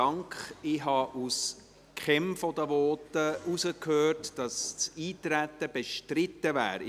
Ich habe aus keinem der Voten herausgehört, dass das Eintreten bestritten ist.